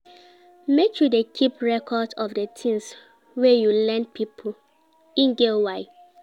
Make you dey keep record of di tins wey you lend pipo, e get why.